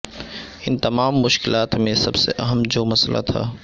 ان تمام مشکلات میں سب سے اہم جو مسئلہ تھا